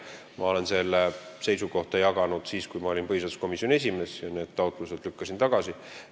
Ma olen seda seisukohta jaganud siis, kui ma olin põhiseaduskomisjoni esimees ja lükkasin sellesisulised taotlused tagasi.